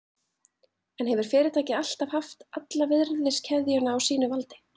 En hefur fyrirtækið alltaf haft alla virðiskeðjuna á sínu valdi?